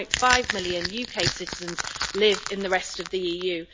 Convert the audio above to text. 1.5 million UK citizens live in the rest of the EU.